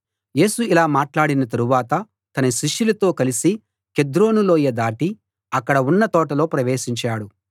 యేసు ఇలా మాట్లాడిన తరువాత తన శిష్యులతో కలిసి కెద్రోను లోయ దాటి అక్కడ ఉన్న తోటలో ప్రవేశించాడు